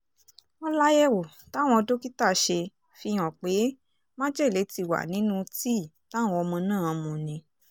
wọ́n láyẹ̀wò táwọn dókítà ṣe fìhàn pé májèlé ti wà nínú tíì táwọn ọmọ náà mu ni